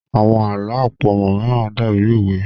Àwọn àlọ́ àpamọ̀ mìíràn dàbí òwe